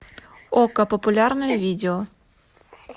окко популярное видео